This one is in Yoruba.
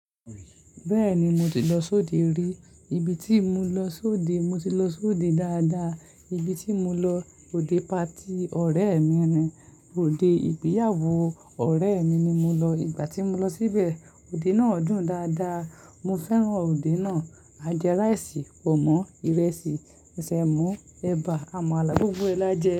Bẹ́ẹ̀ni, mo ti lọ sóde rí. Ibi tí mo lọ sóde, mo ti lọ sóde dáadáa. Ibi tí mo lọ, òde party ọ̀rẹ́ mi ni, òde ìgbéyàwó ọ̀rẹ́ mi ni mo lọ. Ìgbà tí mo lọ síbẹ̀, òde náà dùn dáadáa. Mo fẹ́ràn òde náà. A jẹ rice, pọ̀nmí, irẹsì, sèmó, ẹ̀bà, àmàlà, gbogbo ẹ̀ l'ajẹ.